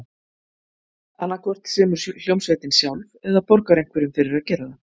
Annað hvort semur hljómsveitin sjálf, eða borgar einhverjum fyrir að gera það.